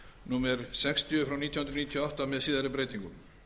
númer sextíu frá nítján hundruð níutíu og átta með síðari breytingum